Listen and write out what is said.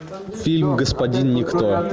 фильм господин никто